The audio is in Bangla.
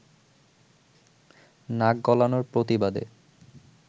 নাক গলানোর প্রতিবাদে